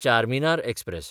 Charminar express